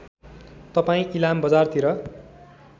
तपाईँ इलाम बजारतिर